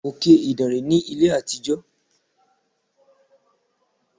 Òkè Ìdànrè ní ilé àtijọ́.